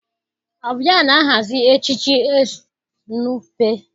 Ọ bụ ya na-ahazi echichi Estu Nụpe.